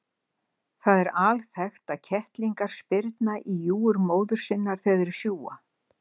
Það er alþekkt að kettlingar spyrna í júgur móður sinnar þegar þeir sjúga.